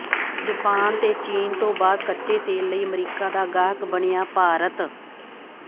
Japan ਤੇ ਚੀਨ ਤੋਂ ਬਾਅਦ ਕੱਚੇ ਤੇਲ ਲਈ ਅਮਰੀਕਾ ਦਾ ਗਾਹਕ ਬਣਿਆ ਭਾਰਤ